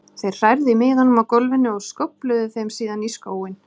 Þeir hrærðu í miðunum á gólfinu og skófluðu þeim síðan í skóinn.